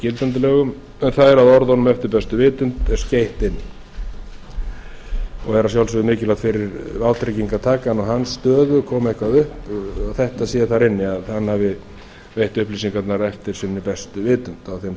gildandi lögum en það er að orðunum eftir bestu vitund er skeytt inn og er að sjálfsögðu mikilvægt fyrir vátryggingartakann og hans stöðu komi eitthvað upp að þetta sé þar inni að hann hafi veitt upplýsingarnar eftir sinni bestu vitund á þeim